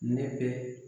Ne bɛ